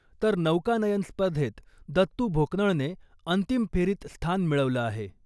तर नौकानयन स्पर्धेत दत्तू भोकनळने अंतिम फेरीत स्थान मिळवलं आहे.